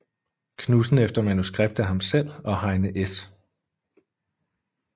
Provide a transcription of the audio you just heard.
Knudsen efter manuskript af ham selv og Heine S